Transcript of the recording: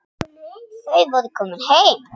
Þau voru komin heim.